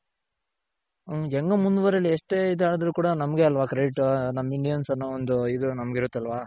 ಹೆಂಗೋ ಮುಂದ್ ವರಿಲಿ ಎಷ್ಟೆ ಇದಾದ್ರು ಕೂಡ ನಮ್ಗೆ ಅಲ್ವ credit ನಮ್ Indian's ಅನ್ನೋ ಒಂದು ನಮ್ಗ್ ಇರುತ್ತಲ್ವ.